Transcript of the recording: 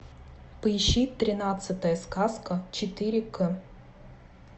поищи тринадцатая сказка четыре к